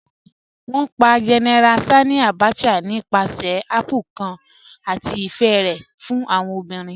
Wọn pà General Sanni Abacha nípàsẹ̀ àpplè̩̩̩̩ kan àti ifẹ̀ rẹ̀ fún awọn obìrín